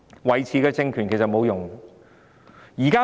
維持政權沒有用。